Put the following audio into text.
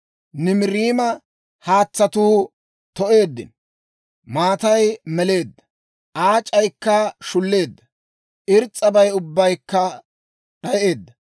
Nimiriima haatsatuu to'eeddino; maatay meleedda; aac'aykka shulleedda; irs's'abay ubbaykka d'ayeedda.